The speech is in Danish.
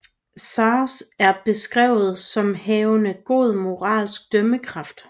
Sazh er beskrevet som havende god moralsk dømmekraft